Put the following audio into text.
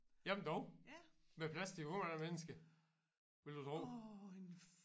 Jamen dog. Med plads til hvor mange mennesker vil du tro?